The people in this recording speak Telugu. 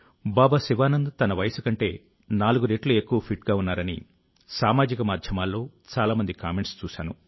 బాబా శివానంద్ తన వయసు కంటే నాలుగు రెట్లు ఎక్కువ ఫిట్ గా ఉన్నారని సామాజిక మాధ్యమాల్లో చాలా మంది కామెంట్స్ చూశాను